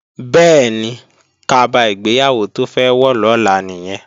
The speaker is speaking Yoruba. Bẹ́ẹ̀ni, kaba ìgbéyàwó tó fẹ́ wọ̀ lọ́la nìyẹn